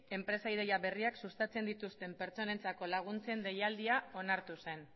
enpresa ideia berriak sustatzen dituzten pertsonentzako laguntzen deialdiak onartu zen